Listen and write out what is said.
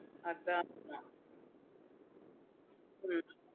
அத அத